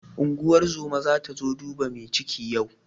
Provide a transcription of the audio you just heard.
Unguwar zoma zata zo duba mai ciki yau.